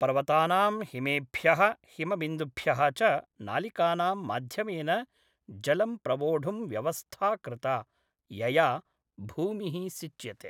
पर्वतानां हिमेभ्यः, हिमबिन्दुभ्यः च नालिकानां माध्यमेन जलं प्रवोढुं व्यवस्था कृता, यया भूमिः सिच्यते।